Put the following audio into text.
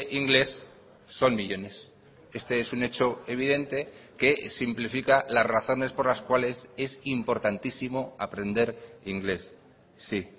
inglés son millónes este es un hecho evidente que simplifica las razones por las cuales es importantísimo aprender inglés sí